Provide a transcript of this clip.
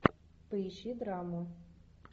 поищи драму